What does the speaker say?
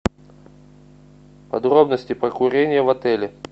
подробности про курение в отеле